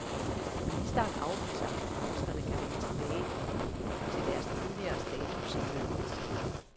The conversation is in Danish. Ministeren afviser, at forskerne kan vende tilbage til deres tidligere status som lønmodtagere.